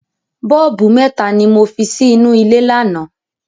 Bọ́ọ̀bù mẹ́ta ni mo fi sí inú ilé lánàá.